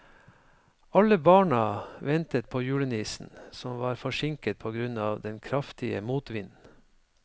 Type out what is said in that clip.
Alle barna ventet på julenissen, som var forsinket på grunn av den kraftige motvinden.